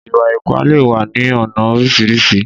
Ìwà-ipá lè wà ní ọnà oríṣiríṣi